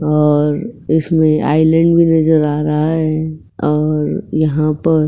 और उसमें आइलैंड भी नजर आ रहा है और यहाँ पर --